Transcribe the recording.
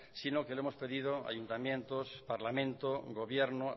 sino lo que hemos pedido ayuntamientos parlamento gobierno